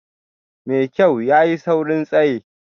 Mai kyau, ya yi saurin tsaye